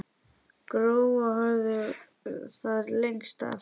Gróa hafði það lengst af.